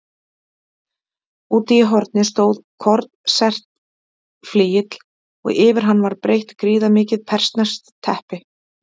Úti í horni stóð konsertflygill og yfir hann var breitt gríðarmikið persneskt teppi.